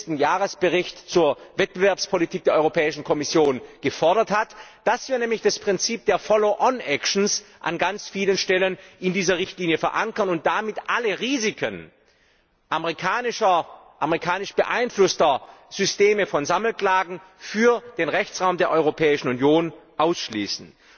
40. Jahresbericht zur Wettbewerbspolitik der Europäischen Kommission gefordert hat, dass wir nämlich das Prinzip der Follow On Actions an ganz vielen Stellen in dieser Richtlinie verankern und damit alle Risiken amerikanisch beeinflusster Systeme von Sammelklagen für den Rechtsraum der Europäischen Union ausschließen.